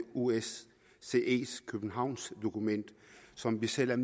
osces københavnsdokument som vi selv